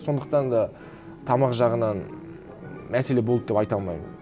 сондықтан да тамақ жағынан мәселе болды деп айта алмаймын